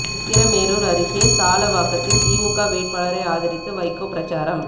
உத்திரமேரூர் அருகே சாலவாக்கத்தில் திமுக வேட்பாளரை ஆதரித்து வைகோ பிரசாரம்